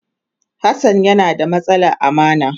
Hassan yana da matsalar amana.